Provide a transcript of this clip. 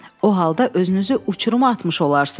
O halda özünüzü uçuruma atmış olarsınız.